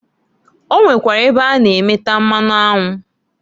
O nwekwara ebe a na- emeta mmanụ anwụ.